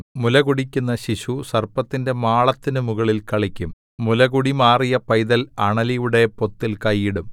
മുലകുടിക്കുന്ന ശിശു സർപ്പത്തിന്റെ മാളത്തിനു മുകളിൽ കളിക്കും മുലകുടി മാറിയ പൈതൽ അണലിയുടെ പൊത്തിൽ കൈ ഇടും